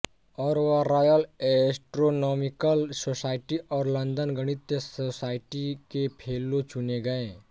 और वह royal astronomical society और लंदन गणितीय सोसाइटी के फेलो चुने गए